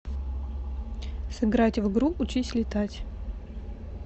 сыграть в игру учись летать